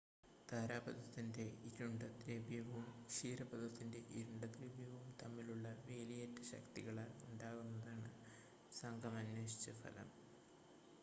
താരാപഥത്തിൻ്റെ ഇരുണ്ട ദ്രവ്യവും ക്ഷീരപഥത്തിൻ്റെ ഇരുണ്ട ദ്രവ്യവും തമ്മിലുള്ള വേലിയേറ്റ ശക്തികളാൽ ഉണ്ടാകുന്നതാണ് സംഘം അന്വേഷിച്ച ഫലം